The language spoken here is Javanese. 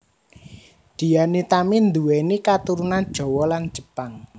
Dian Nitami nduwéni katurunan Jawa lan Jepang